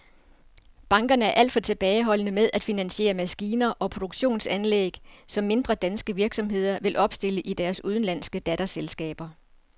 Bankerne er alt for tilbageholdende med at finansiere maskiner og produktionsanlæg, som mindre danske virksomheder vil opstille i deres udenlandske datterselskaber.